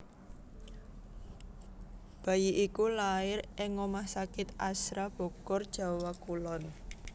Bayi iku lair ing rumah sakit Azhra Bogor Jawa Kulon